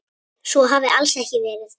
Svo hafi alls ekki verið.